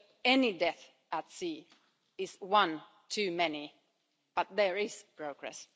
Any death at sea is one too many, but there is progress.